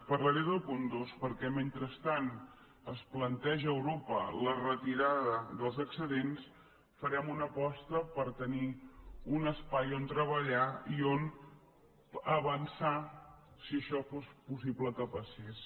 parlaré del punt dos perquè mentre es planteja a europa la retirada dels excedents farem una aposta per tenir un espai on treballar i on avançar si això fos possible que passés